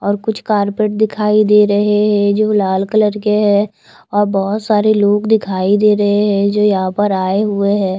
और कुछ कारपेट दिखाई दे रहे है जो लाल कलर के है और बहुत सारे लोग दिखाई दे रहे है जो यहाँ पर आये हुए हैं।